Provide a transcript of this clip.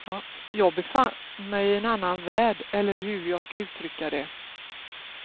Jag befann mig i en annan värld eller hur jag ska uttrycka det.